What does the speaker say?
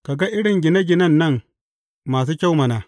Ka ga irin gine ginen nan masu kyau mana!